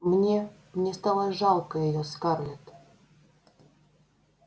мне мне стало жалко её скарлетт